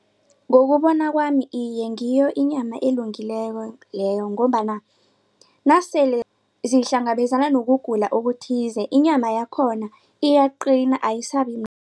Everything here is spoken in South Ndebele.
Ngokubona kwami iye ngiyo inyama elungileko leyo ngombana nasele zihlangabezana nokugula okuthize inyama yakhona iyaqina